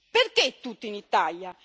Perché tutti in Italia?